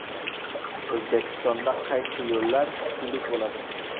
O‘zbekistonda qaysi yo‘llar pullik bo‘ladi?.